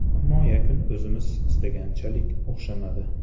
Ammo yakun o‘zimiz istaganchalik o‘xshamadi.